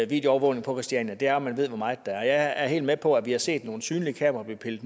videoovervågning på christiania er at man ved hvor meget der er helt med på at vi har set nogle synlige kameraer blive pillet